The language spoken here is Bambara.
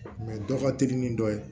dɔ ka teli ni dɔ ye